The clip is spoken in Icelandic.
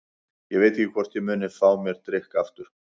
Ég veit ekki hvort ég muni fá mér drykk aftur.